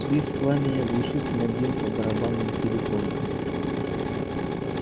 свист пламени оглушительно бил по барабанным перепонкам